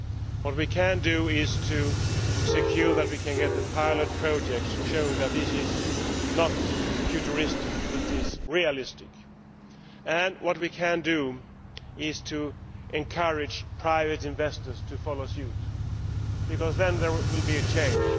What we can do is to ensure that we can have the pilot projects showing that this is not futuristic, it is realistic, and what we can do is to encourage private investors to follow suit because then there will be a change.